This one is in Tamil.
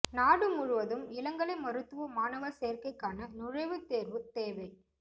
நாடு முழுவதும் இளங்கலை மருத்துவ மாணவர் சேர்க்கைக்கான நுழைவுத் தேர்வு தேவை